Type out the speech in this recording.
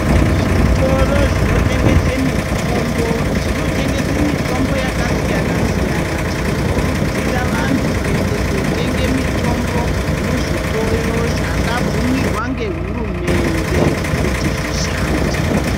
Zvitoro zvinotengese mitombo zvinotengese mitombo yakasiyana siyana tinokurudzira vantu kuende kotenge mitombo muzvitoro zvakabvumirwa ngehurumende kuti zvishande.